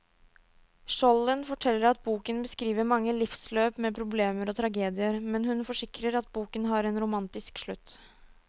Skjolden forteller at boken beskriver mange livsløp med problemer og tragedier, men hun forsikrer at boken har en romantisk slutt.